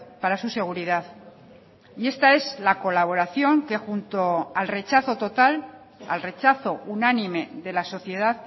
para su seguridad y esta es la colaboración que junto al rechazo total al rechazo unánime de la sociedad